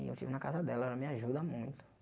E eu estive na casa dela, ela me ajuda muito.